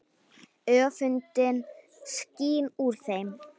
Öfundin skín úr þeim.